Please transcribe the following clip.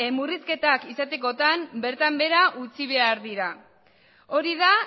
murrizketak izatekotan bertan behera utzi behar dira hori da